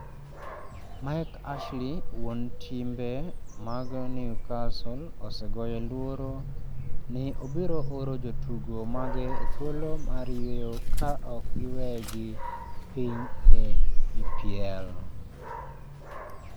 Mike Ashley wuon timbe mag Newcastle osegoyo luoro ni obiro oro jotugo mage e thuolo mar yweyo ka ok giwegi piny e EPL.